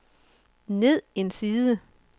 ned en side